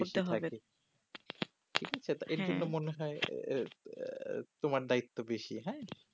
করতে হয় হ্যা এখন তো মনে হয় আঃ তোমার দায়িত্ব বেসি হ্যা